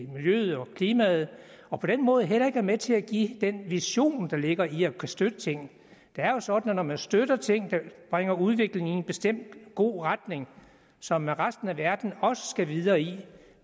miljøet og klimaet og på den måde heller ikke er med til at give den vision der ligger i at kunne støtte ting det er jo sådan at når man støtter ting der bringer udviklingen i en bestemt god retning som resten af verden også skal videre i